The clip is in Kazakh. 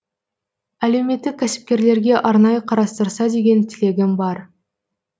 әлеуметтік кәсіпкерлерге арнайы қарастырса деген тілегім бар